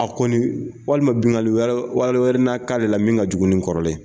A kɔni walima binnkanni wɛrɛ na k'ale la min ka jugu ni kɔrɔlen ye